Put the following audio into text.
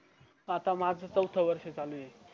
आता माझ चवथ वर्ष चालू आहे